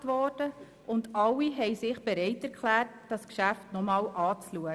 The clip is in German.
Alle Fraktionen wurden angefragt und haben sich bereit erklärt, das Geschäft noch einmal anzuschauen.